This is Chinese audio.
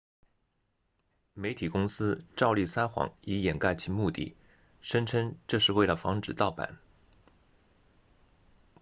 媒体公司照例撒谎以掩盖其目的声称这是为了防止盗版